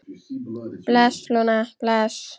Bless, Lúna, bless.